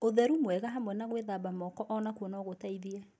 Ũtheru mwega hamwe na gwĩthamba moko onakuo no gũteithie.